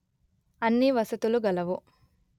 అన్ని వసతులు గలవు